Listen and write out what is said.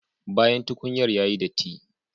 Bayan tukunyar yayi datti